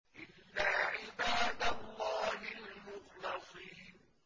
إِلَّا عِبَادَ اللَّهِ الْمُخْلَصِينَ